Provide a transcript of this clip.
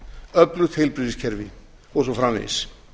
öflugt heilbrigðiskerfi og svo framvegis